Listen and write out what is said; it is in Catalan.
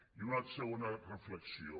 i una segona reflexió